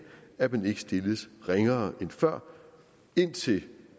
at man ikke stilles ringere end før indtil